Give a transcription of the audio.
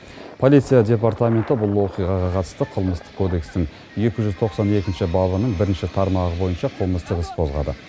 полиция департаменті бұл оқиғаға қатысты қылмыстық кодекстің екі жүз тоқсан екінші бабының бірінші тармағы бойынша қылмыстық іс қозғады